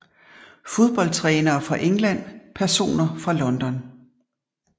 Fodboldtrænere fra England Personer fra London